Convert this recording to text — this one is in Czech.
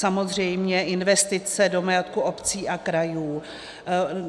Samozřejmě investice do majetku obcí a krajů.